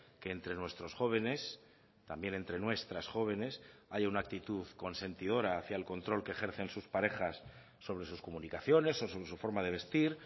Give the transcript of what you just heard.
que entre nuestros jóvenes también entre nuestras jóvenes haya una actitud consentidora hacia el control que ejercen sus parejas sobre sus comunicaciones o su forma de vestir